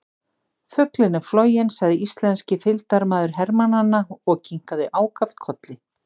Fuglinn er floginn sagði íslenski fylgdarmaður hermannanna og kinkaði ákaft kolli.